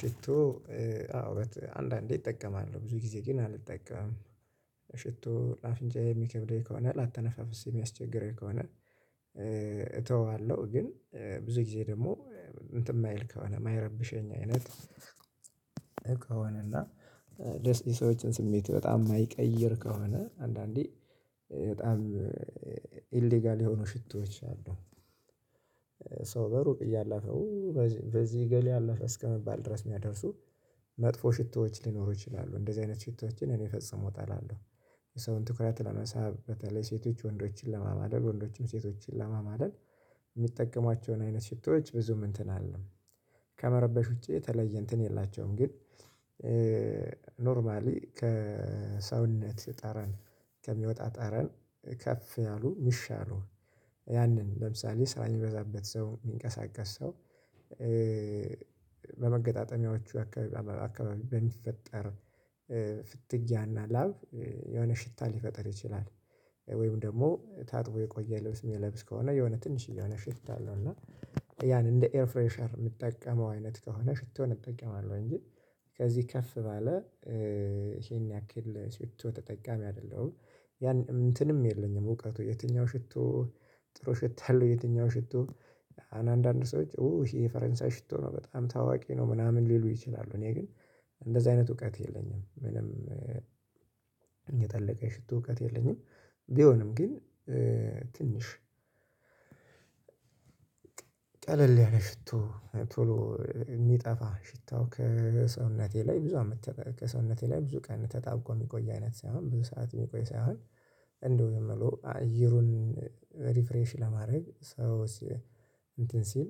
ሽቶ አንዳንዴ እጠቀማለው። ብዙ ጊዜ ግን አልጠቀምም። ሽቶ ለአፍንጫዬ የሚከብደኝ ከሆነ ላተነፋፈስ የሚያስቸግረኝ ከሆነ እተወዋለሁ ግን ብዙ ጊዜ ደግሞ እንትን የማይል ከሆነ የማይረብሸኝ አይነት እቃውን እና የሰዎችን ስሜት በጣም የማይቀይር ከሆነ አንዳንዴ በጣም ኢሌጋል የሆኑ ሽቶዎች አሉ። ሶ በሩቅ እያለፈው በዚህ በዚህ እገሌ አለፈ እስከመባል ድረስ የሚያደርሱ መጥፎ ሽቶዎች ሊኖሩ ይችላሉ። እንደዚህ አይነት ሽቶዎችን እኔ ፈጽሞ እጠላለሁ። የሰውን ትኩረት ለመሳብ በተለይ ሴቶች ወንዶችን ለማማለል፥ ወንዶችም ሴቶችን ለማማለል የሚጠቀሟቸውን አይነት ሽቶዎች ብዙም እንትን አልልም፤ ከመረበሽ ውጪ የተለየ እንትን የላቸውም። ግን ኖርማሊ ከሰውነት ጠረን ከሚወጣ ጠረን ከፍ ያሉ ሚሻሉ ያንን ለምሳሌ- ስራ የሚበዛበት ሰው፥ የሚንቀሳቀስ ሰው በመገጣጠሚያዎቹ አካባቢ በሚፈጠር ፍትጊያና ላብ የሆነ ሽታ ሊፈጥር ይችላል። ወይም ደግሞ ታጥቦ የቆየ ልብስ የሚለብስ ከሆነ የሆነ ትንሽዬ የሆነ ሽታ አለውና ያን እንደ ኤር ፍሬሸር የምጠቀመው አይነት ከሆነ ሽቶን እጠቀማለሁ እንጂ ከዚህ ከፍ ባለ ይሄን ያክል ሽቶ ተጠቃሚ አይደለሁም ያን እንትንም የለኝም እውቀቱ፤ የትኛው ሽቶ ጥሩ ሽታ አለሁ የትኛው ሽቶ አንዳንድ ሰዎች ኡ ይሄ የፈረንሳይ ሽቶ ነው። በጣም ታዋቂ ነው፤ ምናምን ሊሉ ይችላሉ። እኔ ግን እንደዚህ አይነት እውቀት የለኝም። ምንም የጠለቀ የሽቶ እውቀት የለኝም። ቢሆንም ግን ትንሽ ቀለል ያለ ሽቶ፥ ቶሎ የሚጠፋ ሽታው ከሰውነቴ ላይ ብዙ አመት ከሰውነቴ ላይ ብዙ ቀን ተጣብቆ የሚቆይ አይነት ሳይሆን፤ ብዙ ሰዓት የሚቆይ ሳይሆን እንደው የምለው አየሩን ሪፍሬሽ ለማድረግ ሰው እንትን ሲል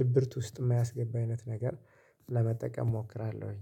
ድብርት ውስጥ የማያስገባኝ አይነት ነገር ለመጠቀም እሞክራለሁኝ